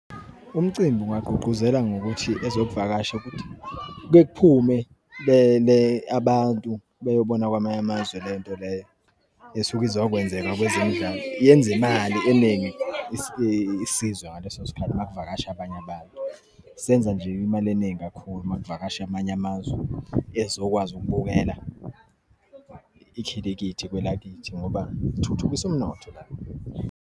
Umcimbi ungagqugquzela ngokuthi ezokuvakasha ukuthi, bephume beyele abantu beyobona kwamanye amazwe lento leyo esuke izokwenzeka kwezemidlalo. Yenza imali eningi isizwe ngaleso sikhathi uma kuvakasha abanye abantu. Senza nje imali eningi kakhulu uma kuvakasha amanye amazwe ezokwazi ukubukela ikhilikithi kwelakithi ngoba kuthuthukise umnotho la.